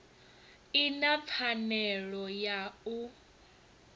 i na pfanelo ya u